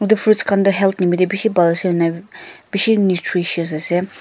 etu fruits khan toh health nimide bishi bhal ena bishi nutritious ase.